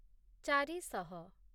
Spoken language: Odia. ଚାରି ଶହ